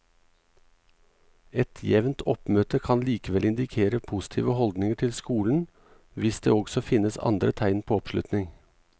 Et jevnt oppmøte kan likevel indikere positive holdninger til skolen hvis det også finnes andre tegn på oppslutning.